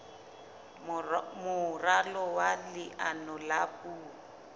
moralo wa leano la puo